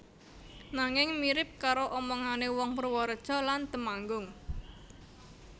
Nanging mirip karo omongane wong Purworejo lan Temanggung